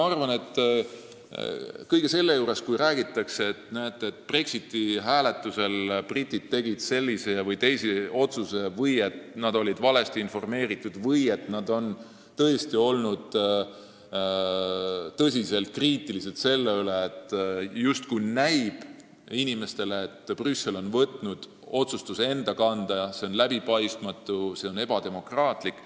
Kogu selle jutu juures, et näete, Brexiti-hääletusel tegid britid ühe või teise otsuse, nad olid valesti informeeritud või tõesti tõsiselt kriitilised, näib paljudele inimestele, justkui oleks Brüssel võtnud enda kanda otsustamise, mis on läbipaistmatu ja ebademokraatlik.